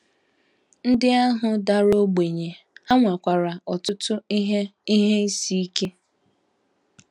Ndị ahụ dara ogbenye, ha nwekwara ọtụtụ ihe ihe isi ike.